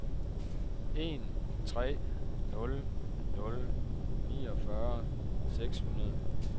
en tre nul nul niogfyrre seks hundrede